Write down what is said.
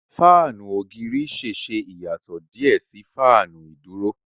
Fáànù ògiri ṣẹṣẹ iyatọ diẹ sí Fáànù iduro